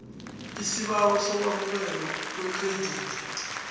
isibawo sokwemukelwa kugreyidi